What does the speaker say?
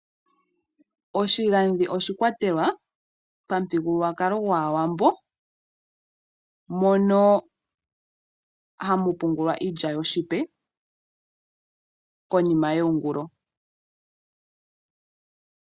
Oshigandhi oshi kwatelwa pamuthigululwakalo gwaaWambo, mono hamu pungulwa iilya yoshipe konima yeyingulo.